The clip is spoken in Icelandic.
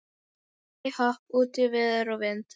Hæ-hopp út í veður og vind.